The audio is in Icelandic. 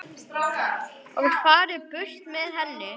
og farið burt með henni.